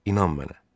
İnan mənə.